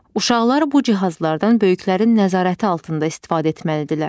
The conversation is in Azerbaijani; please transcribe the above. Uşaqlar bu cihazlardan böyüklərin nəzarəti altında istifadə etməlidirlər.